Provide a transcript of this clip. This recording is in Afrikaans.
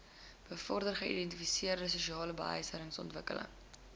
bevorder geïntegreerde sosialebehuisingsontwikkeling